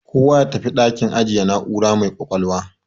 Kowa ya tafi dakin ajiye na'ura mai ƙwaƙwalwa.